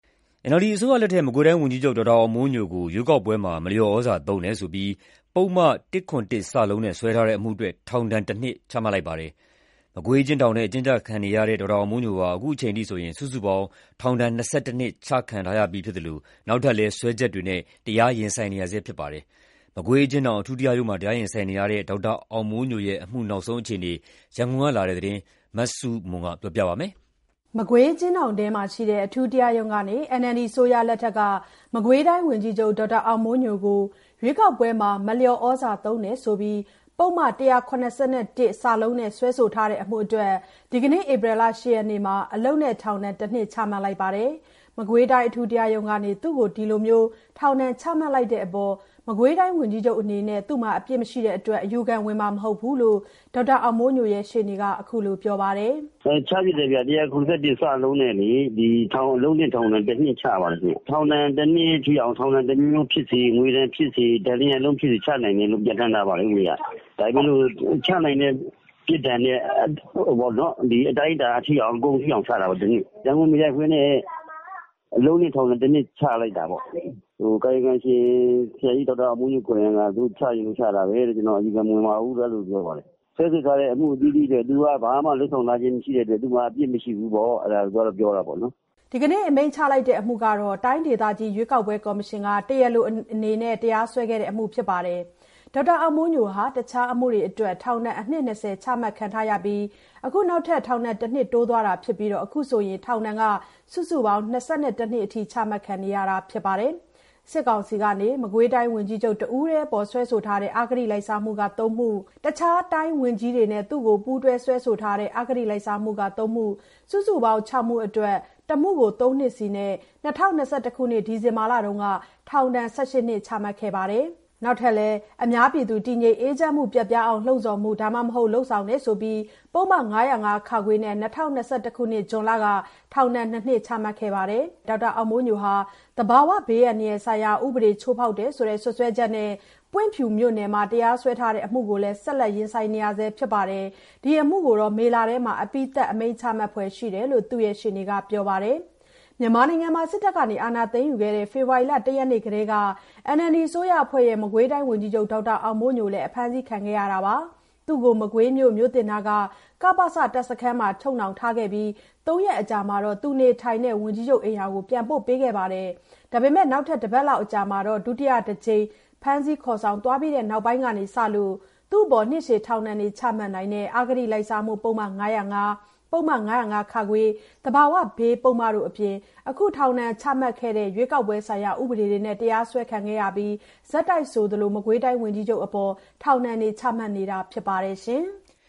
NLD အစိုးရလက်ထက် မကွေးတိုင်းဝန်ကြီးချုပ် ဒေါက်တာအောင်မိုးညိုကို ရွေးကောက်ပွဲမှာ မလျော်ဩဇာသုံးတယ်ဆိုပြီး ပုဒ်မ ၁၇၁-စနဲ့ စွဲထားတဲ့အမှုအတွက် ထောင်ဒဏ် ၁ နှစ်ချမှတ်လိုက်ပါတယ်။ မကွေးအကျဉ်းထောင်ထဲ အကျဉ်းကျခံခဲ့နေရတဲ့ ဒေါက်တာအောင်မိုးညိုဟာ အခုအချိန်အထိ စုစုပေါင်း ထောင်ဒဏ် ၂၁ နှစ် ချခံထားရပြီးဖြစ်သလို နောက်ထပ်လည်း စွဲချက်တွေနဲ့လည်း တရားရင်ဆိုင်နေရဆဲဖြစ်ပါတယ်။ မကွေးအကျဉ်းထောင်အထူးတရားရုံးတွင်း တရားရင်ဆိုင်နေရတဲ့ ဒေါက်တာအောင်မိုးညိုရဲ့ အမှုနောက်ဆုံးအခြေအနေ ရန်ကုန်က လာတဲ့သတင်း မဆုမွန် တင်ပြပေးထားပါတယ်။ မကွေးအကျဉ်းထောင်တွင်းမှာရှိတဲ့ အထူးတရားရုံးကနေ NLD အစိုးရလက်ထက် မကွေးတိုင်းဝန်ကြီးချုပ် ဒေါက်တာအောင်မိုးညိုကို ရွေးကောက်ပွဲမှာ မလျော် ဩဇာ သုံးတယ်ဆိုပြီး ပုဒ်မ ၁၇၁-စနဲ့ စွဲထားတဲ့ အမှုအတွက် ဒီနေ့ ဧပြီလ ၈ ရက်နေ့မှာ အလုပ်နဲ့ထောင်ဒဏ် ၁ နှစ်ချမှတ်လိုက်ပါတယ်။ မကွေးတိုင်း အထူးတရားရုံးကနေ သူ့ကို ဒီထောင်ဒဏ်ချမှတ်တဲ့အပေါ် မကွေးတိုင်းဝန်ကြီးချုပ်အနေနဲ့ သူ့မှာ အပြစ်မရှိတဲ့အတွက် အယူခံဝင်မှာမဟုတ်ဘူးလို့ ဒေါက်တာအောင်မိုးညိုရှေ့နေက အခုလိုပြောပါတယ်။ "ချဖြစ်တယ်။ ၁၇၁-စနဲ့ အလုပ်နဲ့ထောင်ဒဏ် ၁နှစ်ချပါတယ်။ ထောင်ဒဏ်တနှစ် ထိအောင် ထောင် ဒဏ်ဖြစ်စေ၊ ငွေဒဏ်ဖြစ်စေ၊ ဒဏ် ၂ ရပ်လုံးဖြစ်စေချနိုင်တယ် လို့ ဥပဒေအရပြဌာန်းထားပါတယ်။ ဒါပေမယ့် ချနိုင်တဲ့ပြစ်ဒဏ်အကုန်ထိအောင် ချတာပေါ့ ၁ နှစ်။ ဒဏ်ငွေမရိုက်ဘဲနဲ့ အလုပ်နဲ့ထောင်ဒဏ် ၁ နှစ်ချလိုက်တာပေါ့။ ကာယကံရှင် ဆရာအောင်မိုးညိုက သူတို့ချချင်လို့ချတာ၊ အယူခံမဝင်ပါဘူး-ပြောပါတယ်။ စွဲဆိုထားတာအသီးသီးတွေအတွက် သူ့မှာအပြစ်မရှိဘူးလို့သူပြောတယ်။” ဒီနေ့အမိန့်ချလိုက်တဲ့ အမှုကို တိုင်းဒေသကြီး ရွေးကောက်ပွဲကော်မရှင်က တရားလိုအနေနဲ့ တရားစွဲခဲ့တာဖြစ်ပါတယ်။ ဒေါက်တာအောင်မိုးညိုဟာ တခြားအမှုတွေအတွက် ထောင်ဒဏ် အနှစ် ၂၀ နှစ်ချခံထားရပြီး အခု နောက်ထပ် ထောင်ဒဏ် ၁ နှစ်တိုးသွားတာဖြစ်ပြီး အခုဆိုရင် ထောင်ဒဏ်စုစုပေါင်း ၂၁ နှစ်အထိ ချမှတ်ခံနေ ရတာဖြစ်ပါတယ်။ စစ်ကောင်စီက မကွေးတိုင်းဝန်ကြီးချုပ် တဦးတည်းအပေါ် စွဲဆိုထားတဲ့ အဂတိလိုက်စားမှု ၃ မှု၊ တခြားတိုင်းဝန်ကြီးတွေနဲ့ သူ့ကို ပူးတွဲစွဲဆိုထားတဲ့ အဂတိလိုက်စားမှု ၃ မှု၊ စုစုပေါင်း ၆ မှုအတွက် တမှုကို ၃ နှစ်စီ နဲ့ ၂၀၂၁ ခုနှစ် ဒီဇင်ဘာလက ထောင်ဒဏ် ၁၈ နှစ်၊ အများပြည်သူတည်ငြိမ် အေးချမ်းမှုပျက်ပြားအောင် လှုံ့ဆော်မှု လုပ်ဆောင်မှု ပုဒ်မ ၅၀၅ -ခ နဲ့ ၂၀၂၁ ခုနှစ် ဇွန်လက ထောင်ဒဏ် ၂ နှစ် ချခံခဲ့ရပါတယ်။ အခုအချိန်အထိ စုစုပေါင်း ထောင်ဒဏ် ၂၁ နှစ် ချခံထားရတဲ့ ဒေါက်တာ အောင်မိုးညိုဟာ သဘာဝဘေး အန္တရာယ်ဆိုင်ရာဥပဒေ ချိုးဖောက်တယ်ဆိုတဲ့ စွပ်စွဲချက်နဲ့ ပွင့်ဖြူမြို့နယ်မှာ တရားစွဲဆိုထားတဲ့ အမှုတခုကို ဆက်လက်ရင်ဆိုင်နေရဆဲဖြစ်ပါတယ်။ ဒီအမှုကိုလည်း မေလအတွင်း အပြီးသတ် အမိန့်ချမှတ်ဖွယ်ရှိတယ်လို့ သူ့ရှေ့နေက ပြောပါတယ်။ မြန်မာနိုင်ငံမှာ စစ်တပ်က အာဏာသိမ်းယူခဲ့တဲ့ ဖေဖေါ်ဝါရီ နေ့တုန်းကတည်းက NLDအစိုးရအဖွဲ့ရဲ့ မကွေးတိုင်းဝန်ကြီးချုပ် ဒေါက်တာ အောင်မိုးညိုလည်း အဖမ်းဆီးခံခဲ့ရတာပါ။ သူ့ကို မကွေးမြို့ မြို့သစ်နားက က-ပ-စ တပ်စခန်းထဲမှာ ချုပ်နှောင်ထားခဲ့ပြီး ၃ ရက်အကြာမှာ သူနေထိုင်တဲ့ ဝန်ကြီးချုပ်အိမ်ယာကို ပြန်ပို့ပေးခဲ့ပါတယ်။ နောက် တပတ်လောက်အကြာမှာ ဒုတိယတကြိမ် ဖမ်းဆီးခေါ်ဆောင် သွားပြီးချိန်ကစလို့ နှစ်ရှည်ထောင်ဒဏ်ချမှတ်နိုင်တဲ့ အဂတိပုဒ်မ ၅၅၊ ပုဒ်မ ၅၀၅-ခ ၊ သဘာဝဘေးပုဒ်မတို့ အပြင် အခုထောင်ဒဏ်ချမှတ်ခဲ့တဲ့ ရွေးကောက်ပွဲဆိုင်ရာပုဒ်မတို့နဲ့ တရားစွဲခံခဲ့ပြီး ဆက်တိုက်ဆိုသလို ထောင်ဒဏ်တွေ ချမှတ်နေတာဖြစ်ပါတယ်ရှင်။